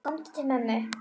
Komdu til mömmu.